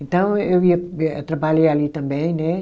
Então eu ia eh trabalhei ali também, né?